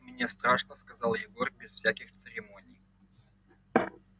мне страшно сказал егор без всяких церемоний